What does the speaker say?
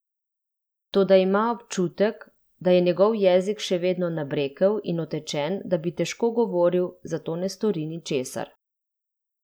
Toda ima občutek, da je njegov jezik še vedno nabrekel in otečen, da bi težko govoril, zato ne stori ničesar.